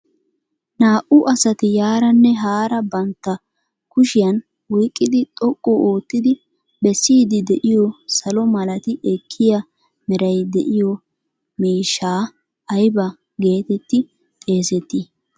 naa''u asati yaaranne haaraa bantta kushiyan oyqqidi xoqqu oottidi bessiidi de'iyo salo malati ekkiya meray de'iyo miishshaa ayba getetti xeesetti?